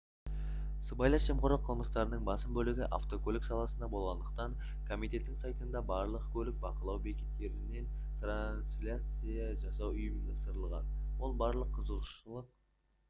сыбайлас жемқорлық қылмыстарының басым бөлігі автокөлік саласында болғандықтан комитеттің сайтында барлық көлікті бақылау бекеттерінен трансляция жасау ұйымдастырылған ол барлық қызығушылық